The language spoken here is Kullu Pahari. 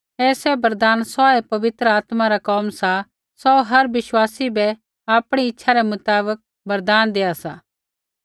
ऐ सैभ वरदान सौऐ पवित्र आत्मा रा कोम सा सौ हर विश्वासी बै आपणी इच्छा रै मुताबक वरदान देआ सा